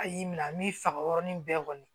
A y'i minɛ a m'i faga yɔrɔnin bɛɛ kɔni